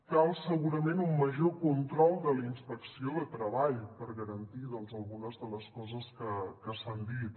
cal segurament un major control de la inspecció de treball per garantir doncs algunes de les coses que s’han dit